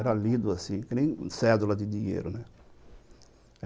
Era lido assim, que nem cédula de dinheiro.